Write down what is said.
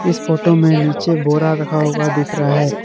इस फोटो में नीचे बोरा रखा हुआ दिख रहा है।